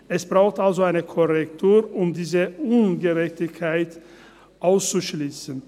Es braucht also eine Korrektur, um diese Ungerechtigkeit auszuschliessen.